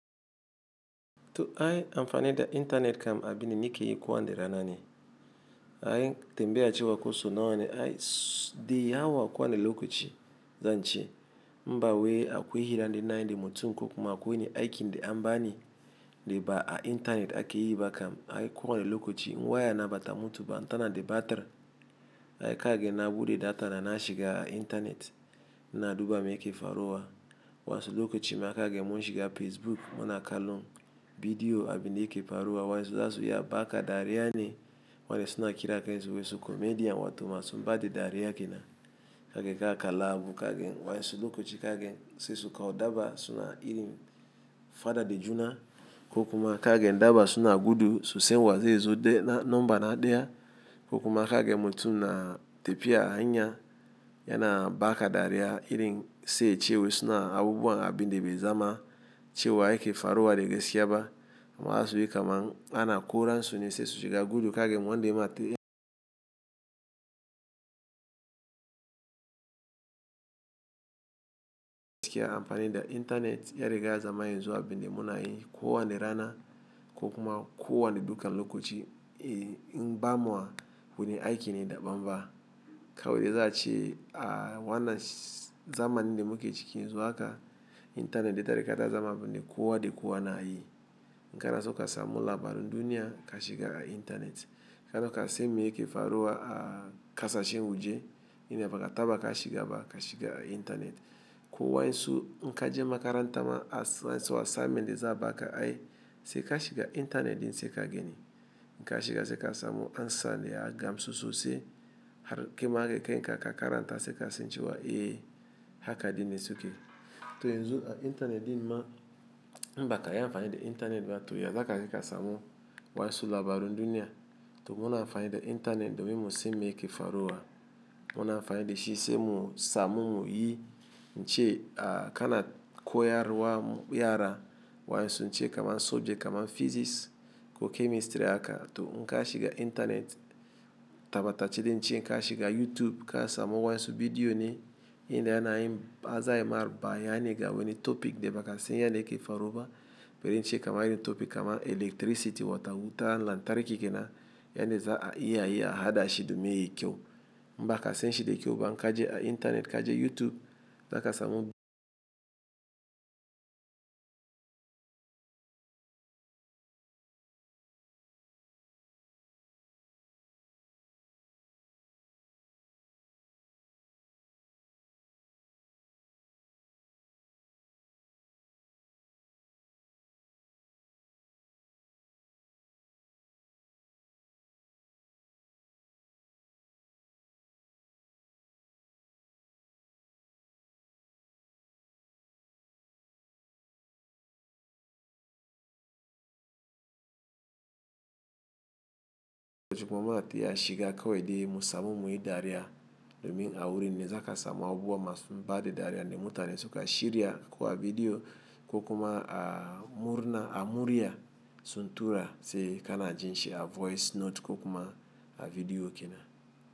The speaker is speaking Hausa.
To ai amfani da intanet kam abin da na ke yi kowace rana. Ay tambaya ce wa koso nauwa ne ay di ya wa kowa ni lokaci zance. Mbawai akwai hiran da ina yi da mutum ko kuma akwai wanni aiki da amba ni, da ba a intanet ake yi ba kam ai kowa ni lokaci. In waya na bata mutu ba, in tana de batir. Ay kage na buɗe data na na shiga a intanet ina duba me yake faruwa. Wansu lokaci ma kage mun shiga Facebook muna kalon bidiyo abin yake faruwa. Wa'insu zasu iya baka dariya ne wanda suna kiran kansu wai komedian wato masu mbada dariya ke nan. Kage ka kalla abu kage wa'insu lokaci kage sesuka wo dabba suna irin faɗa da juna ko kuma kage dabba suna gudu su sai wanzai zai zo nomba na ɗaya ko kuma kage mutum na tepiya hanya yana baka dariya irin se ciye wesu na abubuwa abin de bai zama ciye wa yake faruwa de gesiya ba. Ma zasu yi kam an na kora suni sesuka gudu kage wan de ma te- amfani da intanet ya riga ya zama yin zuwa abin de muna yi kowa ni rana ko kuma kowa ni dukan lokaci. In bamuwa wurin aiki ne da bam ba. Kawai de zaci a wanna zamanin de muke cikin yanzu haka intanet de ta riga ta zama abun de kowa de kowa na yi. In kana so ka samu labarun duniya ka shiga a intanet. Kana ka se me yake faruwa a ƙasa shen waje, inda baka taɓa ka shiga ba ka shiga a intanet. Ko wa'insu in ka je makaranta ma assignment de za abaka ay, se ka shiga intanet ɗin se ka gani. Inka shiga se ka samu ansan da ya gansu so se har kai ma da kan ka in ka karanta se ka san cewa, "Eh haka ɗin ne suke." To yanzu a intanet din ma mbaka yi amfani da intanet ba to ya zaka iya ka samu wansu labarun duniya. To mun amfani da intanet domin mu se me yake faruwa. Mun amfani da shi se mu samu muyi ince a kana koyarwa yara wansu nce kamar subject kamar physics ko chemistry aka to in ka shiga intanet tabata cede nce n'ka shiga YouTube ka samu wansu bidiyo ne ina yana yin a zayi marɓa yana ga wani topic de baka san yana yake faruwa. Biri ince kamar iri topic kamar electricity wata wuta lantarki ke nan yana za iya yi a haɗa shi domin yayi kyau. In baka san shi de kyau ba in ka je a intanet ka je YouTube zaka samu- zuwa ma a ti a shiga kawai de mu samu muyi dariya domin a wurin ne zaka samu abubuwa masu mbade dariya ne mutu na suka shirya kuwa bidiyo ko kuma a murna a murya sun tura se kana jin shi a voice note ko kuma a bidiyo ke na.